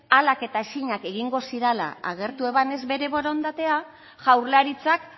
ahalak eta ezinak egingo zirala agertu ebanez bere borondatea jaurlaritzak